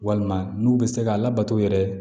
Walima n'u bɛ se ka labato yɛrɛ